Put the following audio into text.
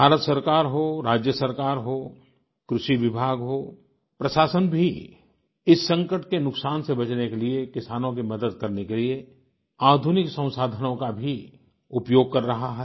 भारत सरकार हो राज्य सरकार हो कृषि विभाग हो प्रशासन भी इस संकट के नुकसान से बचने के लिए किसानों की मदद करने के लिए आधुनिक संसाधनों का भी उपयोग कर रहा है